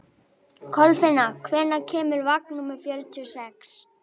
Kolfinna, hvenær kemur vagn númer fjörutíu og sex?